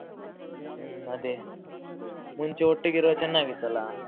ಹ್ಮ್ ಅದೇ ಮುಂಚೆ ಒಟ್ಟಿಗೆ ಇರುವಾಗ ಚೆನ್ನಾಗಿತ್ತಲ್ಲ?